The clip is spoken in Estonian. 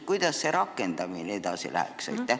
Kuidas selle otsuse ellu rakendamine kulgeks?